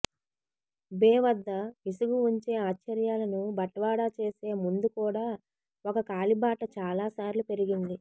బే వద్ద విసుగు ఉంచే ఆశ్చర్యాలను బట్వాడా చేసే ముందు కూడా ఒక కాలిబాట చాలా సార్లు పెరిగింది